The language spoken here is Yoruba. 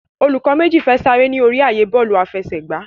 Olùkó méjì fè Sare ní orí ààyè Bọ́ọ̀lù àfẹsẹ̀gbá.